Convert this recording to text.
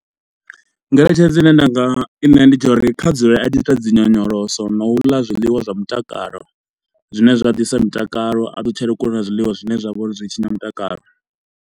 Ngeletshedzo ine nda nga i ṋea ndi tsha uri kha dzule a tshi ita dzi nyonyoloso, no u ḽa zwiḽiwa zwa mutakalo zwine zwa ḓisa mutakalo. A ṱutshele kule na zwiḽiwa zwine zwa vha uri zwi tshinya mutakalo.